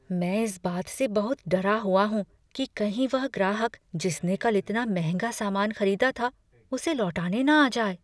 मैं इस बात से बहुत डरा हुआ हूँ कि कहीं वह ग्राहक, जिसने कल इतना महंगा सामान खरीदा था, उसे लौटाने न आ जाए।